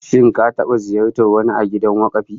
Shin ka taba ziyartar wani a gidan wakafi?